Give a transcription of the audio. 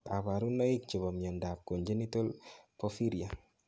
Kaparunoik chepo miondap congenital porphyria